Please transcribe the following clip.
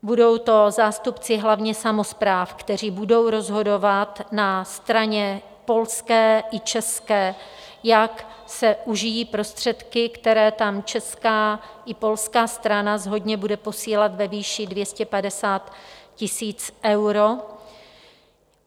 Budou to zástupci hlavně samospráv, kteří budou rozhodovat na straně polské i české, jak se užijí prostředky, které tam česká i polská strana shodně bude posílat ve výši 250 000 eur.